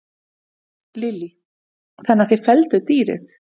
Lillý: Þannig að þið fellduð dýrið?